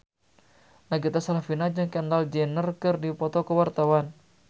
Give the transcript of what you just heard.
Nagita Slavina jeung Kendall Jenner keur dipoto ku wartawan